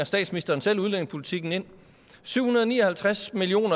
statsministeren selv udlændingepolitikken ind syv hundrede og ni og halvtreds million